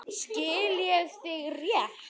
Skil ég þig rétt?